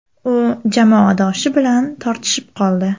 U jamoadoshi bilan tortishib qoldi .